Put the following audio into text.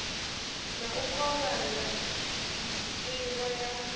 na u kovhana nivho ya